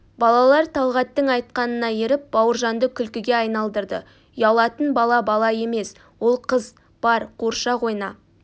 балалар талғаттың айтқанына еріп бауыржанды күлкіге айналдырды ұялатын бала бала емес ол қыз бар қуыршақ ойна